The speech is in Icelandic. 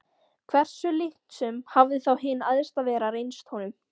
Hversu líknsöm hafði þá hin Æðsta Vera reynst honum!